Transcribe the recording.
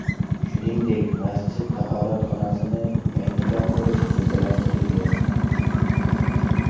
Shuningdek, masjid tahoratxonasini yangidan qurish rejalashtirilgan.